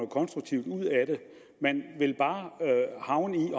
konstruktivt ud af det man vil bare havne i